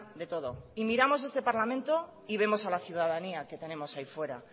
de todo y miramos este parlamento y vemos a la ciudadanía que tenemos ahí fuera